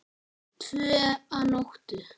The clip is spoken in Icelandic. Tvö að nóttu